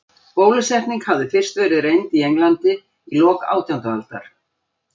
Bólusetning hafði fyrst verið reynd í Englandi í lok átjándu aldar.